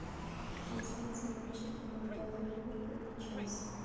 трансляция матча команд апл ливерпуль и челси